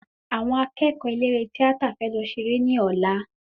Àwọn akẹ́kọ̀ọ́ eléré tíátà fẹ lọ ṣe eré ní ọ̀lá